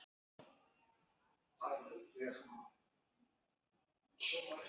GRÍMUR: Já, Magnús minn!